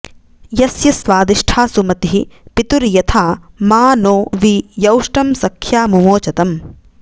यस्य स्वादिष्ठा सुमतिः पितुर्यथा मा नो वि यौष्टं सख्या मुमोचतम्